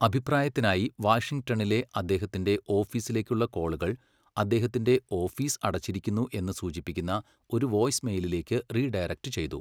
അഭിപ്രായത്തിനായി വാഷിംഗ്ടണിലെ അദ്ദേഹത്തിന്റെ ഓഫീസിലേക്കുള്ള കോളുകൾ അദ്ദേഹത്തിന്റെ 'ഓഫീസ് അടച്ചിരിക്കുന്നു' എന്ന് സൂചിപ്പിക്കുന്ന ഒരു വോയ്സ്മെയിലിലേക്ക് റീഡയറക്ട് ചെയ്തു.